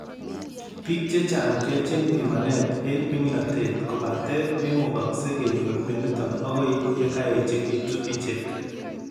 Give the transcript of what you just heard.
Biik chechang keyochin pimanet eng' ming'inotet kobate memukakse kenyor mionitok akoi yekaechekitu ichek